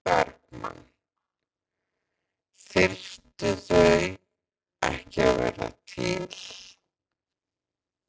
Sólveig Bergmann: Þyrftu þau ekki að vera til?